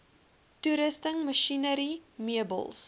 toerusting masjinerie meubels